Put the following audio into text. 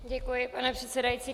Děkuji, pane předsedající.